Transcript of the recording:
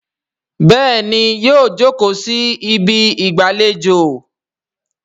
béèni yíò joko sí Ibi ìgbàlejò.